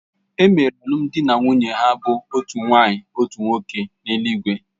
E mere alụmdi na nwunye ha bụ́ otu nwaanyị otu nwoke n’eluigwe